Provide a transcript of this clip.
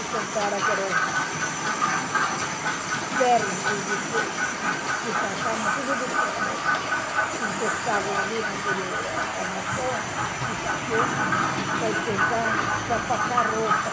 E compraram aqueles ferros de de de de passar, mas tudo de ferro, que encostavam ali naquela armação, que está quente, para esquentar, para passar roupa.